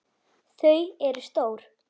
Þau eru stór.